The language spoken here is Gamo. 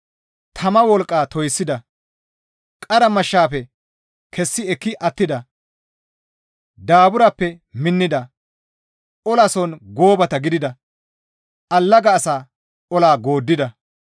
tama wolqqa toyssida; qara mashshafe kessi ekki attida; daaburappe minnida; olason goobata gidida; allaga asaa ola gooddida;